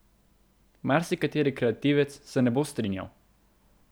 Marsikateri kreativec se ne bo strinjal.